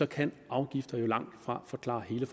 kan afgifter jo langtfra forklare hele